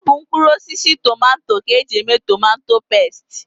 Ọ bụ mkpụrụosisi tomato ka e ji eme tomato pesti